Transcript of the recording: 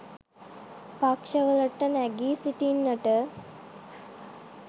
පක්ෂ වලට නැගී සිටින්නට